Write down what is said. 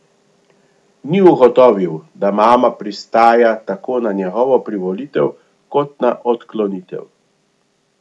Ni ugotovil, da mama pristaja tako na njegovo privolitev kot na odklonitev.